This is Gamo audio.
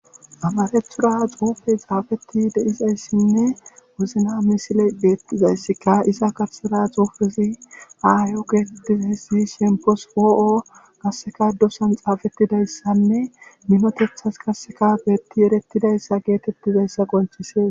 Amarethura xuufey xaafeti deizayssinne wuzna misile beettizayssika isa karsera xuufesi aaayo geetettiz hessi shempos poo'o kasseka dosan xaafettidayssanne minotethas kasseka beetti erettidayssa geetettizayssa qonchise.